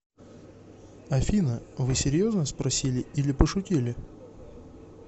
афина вы серьезно спросили или пошутили